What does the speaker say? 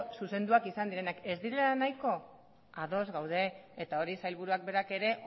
zuzenduak izan direnak ez direla nahiko ados gaude eta hori sailburuak berak ere